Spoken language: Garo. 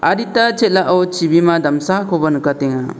adita chel·ao chibima damsakoba nikatenga